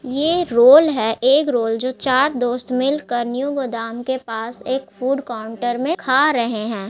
ये रोल है एक रोल जो चार दोस्त मिलकर न्यू गोदाम के पास एक फूड काउंटर में खा रहे हैं।